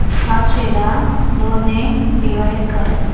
सातशे ला दोन ने डिवाइड कर